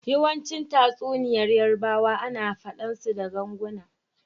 Yawanci tatsuniyar yarbawa ana fade su da ganguna.